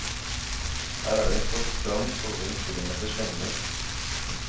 Her er det en flott strand på over en kilometers lengde.